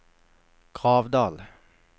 Gravdal